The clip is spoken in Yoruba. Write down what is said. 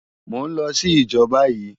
Mò n lò si ijò bàyi